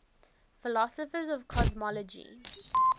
philosophers of cosmology